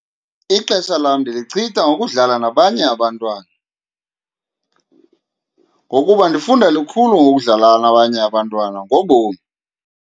Ixesha lam ndilichitha ngokudlala nabanye abantwana, ngokuba ndifunda lukhulu ngokudlala nabanye abantwana ngobomi.